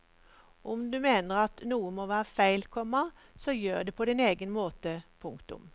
Om du mener at noe må være feil, komma så gjør det på din egen måte. punktum